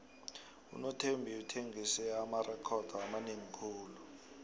unothembi uthengise amarekhodo amanengi khulu